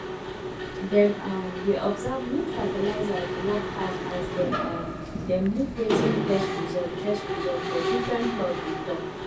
dem um dey observe which fertilizer dey work pass as dem um dem look wetin test result test result for different plots dey tok